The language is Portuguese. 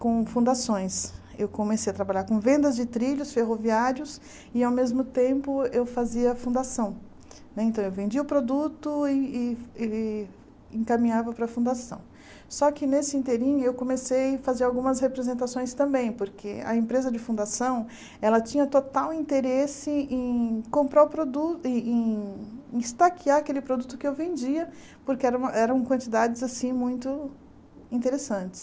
com fundações eu comecei a trabalhar com vendas de trilhos ferroviários e ao mesmo tempo eu fazia a fundação né então eu vendia o produto e e e encaminhava para a fundação só que nesse inteirinho eu comecei a fazer algumas representações também porque a empresa de fundação ela tinha total interesse em comprar o produ em em estaquear aquele produto que eu vendia porque eram quantidades assim muito interessantes